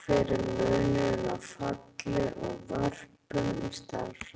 Hver er munurinn á falli og vörpun í stærðfræði?